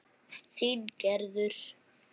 Þín Gerður.